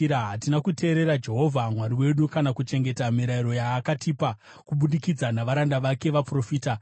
Hatina kuteerera Jehovha Mwari wedu kana kuchengeta mirayiro yaakatipa kubudikidza navaranda vake vaprofita.